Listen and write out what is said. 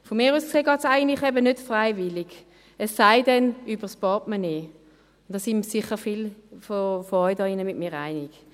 Aus meiner Sicht geht es eigentlich eben nicht freiwillig, es sei denn über das Portemonnaie, und da sind sicher viele von Ihnen hier drin mit mir einig.